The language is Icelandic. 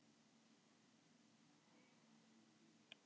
Hugrún, ekki fórstu með þeim?